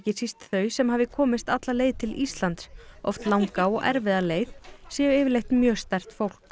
síst þau sem hafi komist alla leið til Íslands oft langa og erfiða leið séu yfirleitt mjög sterkt fólk